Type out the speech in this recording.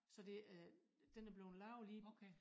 Så det øh den er bleven lavet lige